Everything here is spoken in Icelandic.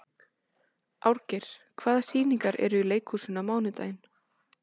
Árgeir, hvaða sýningar eru í leikhúsinu á mánudaginn?